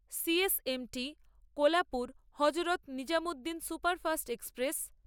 C S M T Kolhapur Hazrat Nizamuddin superfast express